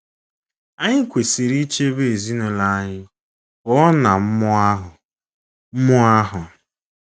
Anyị kwesịrị ichebe ezinụlọ anyị pụọ ná mmụọ ahụ. mmụọ ahụ.